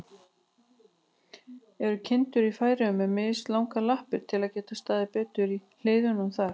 Eru kindur í Færeyjum með mislangar lappir, til að geta staðið betur í hlíðunum þar?